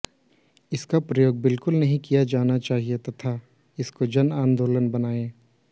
इसका प्रयोग बिल्कुल नहीं किया जाना चाहिए तथा इसको जन आंदोलन बनाएं